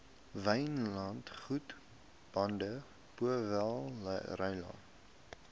wynlandgoed baden powellrylaan